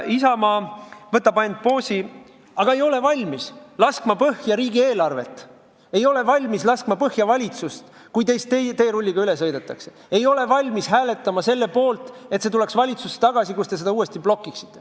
Isamaa võtab ainult poosi, aga ei ole valmis laskma põhja riigieelarvet, ei ole valmis laskma põhja valitsust, kui tast teerulliga üle sõidetakse, ei ole valmis hääletama selle poolt, et see lepe tuleks valitsusse tagasi, kus ta seda uuesti blokiks.